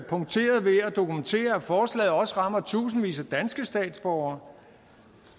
dokumentere at forslaget også rammer tusindvis af danske statsborgere